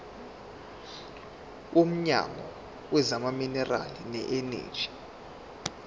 womnyango wezamaminerali neeneji